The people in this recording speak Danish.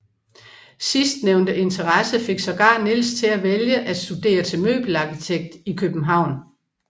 Sidstnævnte interesse fik sågar Nils til at vælge at studere til møbelarkitekt i København